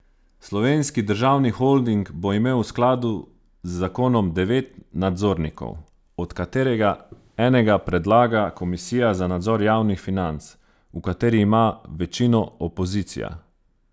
Slovenski državni holding bo imel v skladu z zakonom devet nadzornikov, od katerega enega predlaga komisija za nadzor javnih financ, v kateri ima večino opozicija.